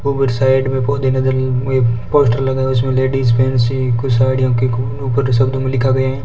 Side में पौधे नजर पोस्टर लगा हुआ है उसमें लेडिस फैंसी कुछ साड़ियों के ऊपर शब्दों में लिखा गया है।